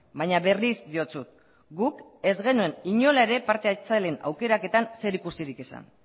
baina berriz diotsut guk ez genuen inola ere parte hartzaileen aukeraketan zerikusirik izan